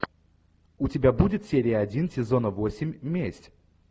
у тебя будет серия один сезона восемь месть